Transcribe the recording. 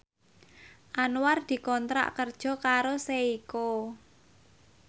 Anwar dikontrak kerja karo Seiko